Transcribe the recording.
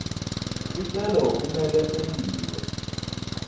sicelo kumele sentiwe